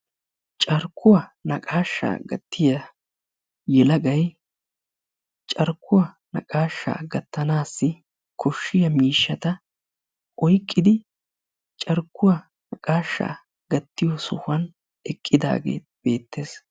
Carkkuwaa naqashsha gattiyaa yelaggay carkkuwa naqashsha gattanassi koshshiyaa miishshata oyqqidi carqquwa naqqasha gattiyo sohuwaani eqqidaage beettes.